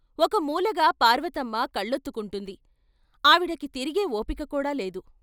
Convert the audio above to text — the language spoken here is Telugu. ఒక మూలగా పార్వతమ్మ కళ్లొత్తుకుంటోంది, ఆవిడకి తిరిగే ఓపికకూడా లేదు.